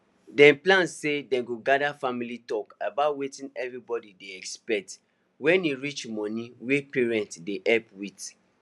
dem plan say dem go gather family talk about wetin everybody dey expect when e reach money wey parents dey help with